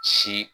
Si